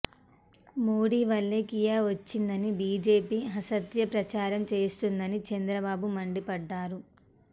మోడీ వల్లే కియా వచ్చిందని బీజేపీ అసత్య ప్రచారం చేస్తోందని చంద్రబాబు మండిపడ్డారు